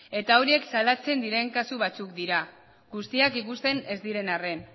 eta horiek salatzen diren kasu batzuk dira guztiak ikusten ez diren arren